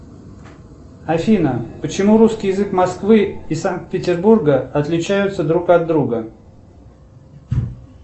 афина почему русский язык москвы и санкт петербурга отличаются друг от друга